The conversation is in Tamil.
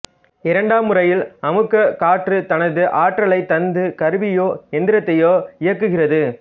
இரண்டாம் முறையில் அமுக்கக் காற்று தனது ஆற்றலைத் தந்து கருவியையோ எந்திரத்தையோ இயக்குகிறது